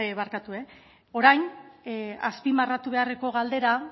barkatu orain azpimarratu beharreko galdera